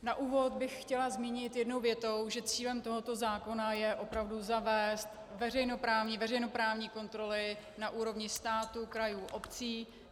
Na úvod bych chtěla zmínit jednou větou, že cílem tohoto zákona je opravdu zavést veřejnoprávní kontroly na úrovni státu, krajů, obcí.